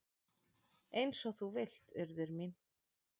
"""Eins og þú vilt, Urður mín."""